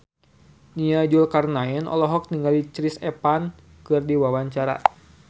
Nia Zulkarnaen olohok ningali Chris Evans keur diwawancara